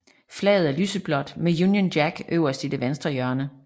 Flaget er lyseblåt med Union Jack øverst i det venstre hjørne